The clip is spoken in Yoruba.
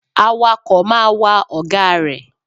Awakọ̀ máa wa ọ̀gá rẹ̀.